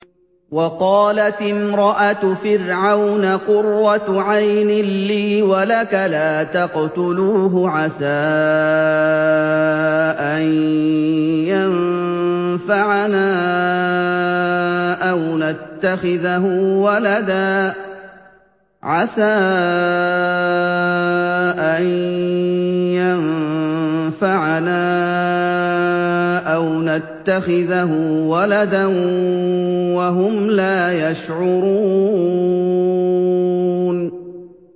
وَقَالَتِ امْرَأَتُ فِرْعَوْنَ قُرَّتُ عَيْنٍ لِّي وَلَكَ ۖ لَا تَقْتُلُوهُ عَسَىٰ أَن يَنفَعَنَا أَوْ نَتَّخِذَهُ وَلَدًا وَهُمْ لَا يَشْعُرُونَ